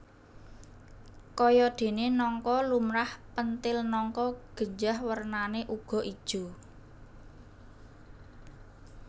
Kayadéné nangka lumrah pentil nangka genjah wernané uga ijo